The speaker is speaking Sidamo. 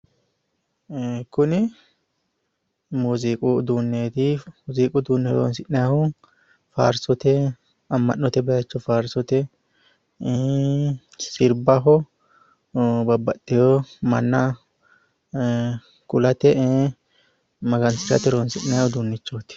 Kuni muuziiqu uduunneeti. Muuziiqu uduunne horonsi'nayiihu faarsote, amma'note baayiicho faarsote, sirbaho, babbaxewo manna kulate magansirate horonsi'nayi uduunnichooti.